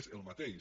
és el mateix